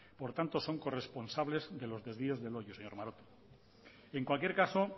por tanto son corresponsables de los desvíos de loiu señor maroto en cualquier caso